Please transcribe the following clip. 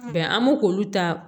an m'o k'olu ta